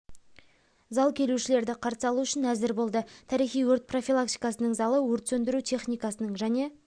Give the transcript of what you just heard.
зал келушілерді қарсы алу үшін әзір болды тарихи өрт профилактикасының залы өрт сөндіру техникасының және